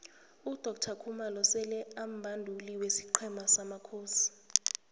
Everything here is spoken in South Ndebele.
udoctor khumalo sele ambanduli wesiqhema samakhosi